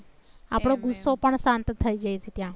આપણો ગુસ્સો પણ શાંત થઈ જાય છે ત્યાં